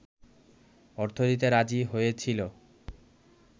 অর্থ দিতে রাজি হয়েছিল